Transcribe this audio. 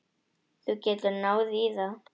Þú getur náð í það.